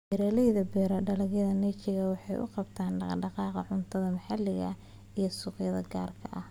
Beeralayda beera dalagyada niche waxay u qabtaan dhaqdhaqaaqa cuntada maxalliga ah iyo suuqyada gaarka ah.